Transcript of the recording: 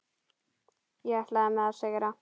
Ég ætlaði mér að sigra.